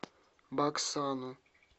баксану